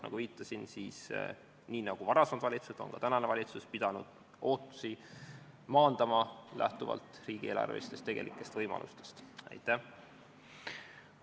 Nagu ma viitasin, siis nii nagu varasemad valitsused, on ka tänane valitsus pidanud lähtuvalt tegelikest riigieelarvelistest võimalustest ootusi vähendama.